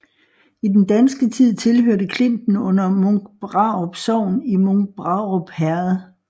I den danske tid hørte klinten under Munkbrarup Sogn i Munkbrarup Herred